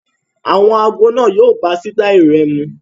Àwọn ago náà yo bá sítáì rẹ mu